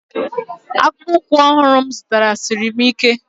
Akpụkpọ ụkwụ ọhụrụ m zụtara siri m ike.